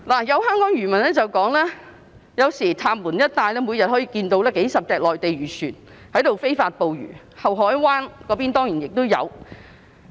有香港漁民表示，有時候在塔門一帶，每天可以看到數十艘內地漁船在非法捕魚，后海灣那邊當然亦有。